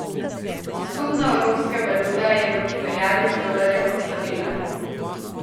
Skupna evropska valuta je v primerjavi z dolarjem oslabela.